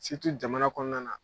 jamana kɔnɔna na